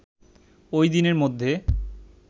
ওইদিনের মধ্যে